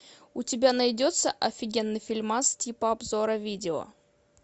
у тебя найдется офигенный фильмас типа обзора видео